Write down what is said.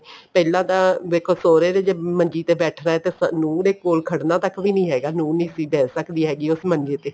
ਪਹਿਲਾਂ ਤਾਂ ਵੇਖੋ ਸੁਹਰੇ ਦੇ ਜ਼ੇ ਮੰਜੀ ਦੇ ਬੈਠਣਾ ਤਾਂ ਨੂੰਹ ਨੇ ਕੋਲ ਖੜਨਾ ਤੱਕ ਵੀ ਨਹੀਂ ਹੈਗਾ ਨੂੰਹ ਨਹੀਂ ਸੀ ਬੈਠ ਸਕਦੀ ਹੈਗੀ ਉਸ ਮੰਜੇ ਤੇ